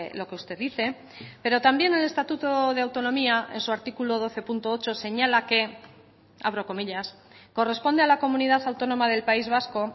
lo que usted dice pero también el estatuto de autonomía en su artículo doce punto ocho señala que abro comillas corresponde a la comunidad autónoma del país vasco